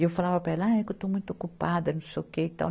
E eu falava para ela, ah, é que eu estou muito ocupada, não sei o quê e tal.